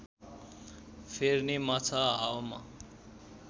फेर्ने माछा हावामा